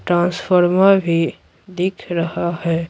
Transformer भी दिख रहा है।